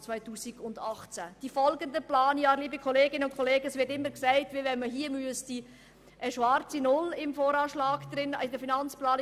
In Bezug auf die folgenden Planjahre, liebe Kolleginnen und Kollegen, wird immer so getan, als ob man im VA stets eine schwarze Null erreichen müsste.